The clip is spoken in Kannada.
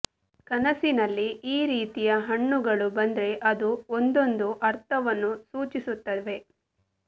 ಕನಸಿನಲ್ಲಿ ಈ ರೀತಿಯ ಹಣ್ಣುಗಳು ಬಂದ್ರೆ ಅವು ಒಂದೊಂದು ಅರ್ಥವನ್ನು ಸೂಚಿಸುತ್ತವೆ